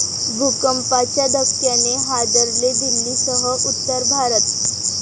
भूकंपाच्या धक्क्याने हादरले दिल्लीसह उत्तर भारत